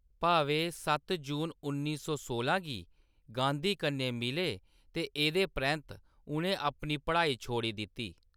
भावे सत्त जून उन्नी सौ सोलां गी गांधी कन्नै मिले ते एह्‌‌‌दे परैंत्त उʼनें अपनी पढ़ाई छोड़ी दित्ती।